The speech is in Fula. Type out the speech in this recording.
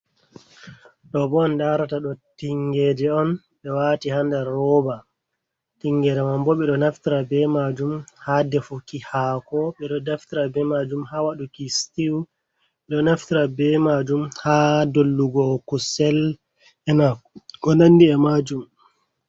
Ɗo bo on darata ɗo tingeje on be wati hsa nder rooba tingeje man bo beɗo nafitra be majum ha defuki hako. Ɓeɗo naftira be majum ha waduki stiw bedo naftira be majum ha dollugo kusel ena ko nandi’e majum.